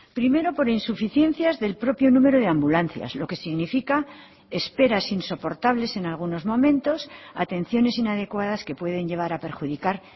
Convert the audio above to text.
primero por insuficiencias del propio número de ambulancias lo que significa esperas insoportables en algunos momentos atenciones inadecuadas que pueden llevar a perjudicar